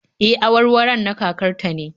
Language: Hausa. E, awarwaron na kakar ta ne